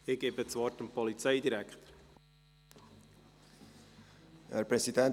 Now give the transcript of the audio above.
Ich erteile dem Polizei- und Militärdirektor das Wort.